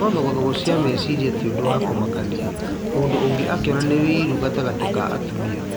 No thogothogo cia meciria ti ũndũ wa kũmakania mũndũ ũngĩ akĩona nĩ ũiru gatagatĩ ka atumia